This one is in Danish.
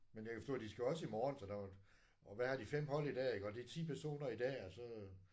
Men jeg kan forstå at de skal også i morgen så der og hvad har de 5 hold i dag iggå det er 10 personer i dag og så